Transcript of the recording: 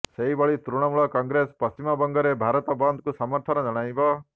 ସେହିଭଳି ତୃଣମୂଳ କଂଗ୍ରେସ ପଶ୍ଚିମବଙ୍ଗରେ ଭାରତ ବନ୍ଦକୁ ସମର୍ଥନ ଜଣାଇବ